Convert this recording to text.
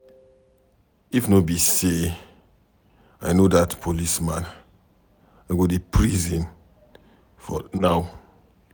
If no be say I no dat policeman, I go dey prison now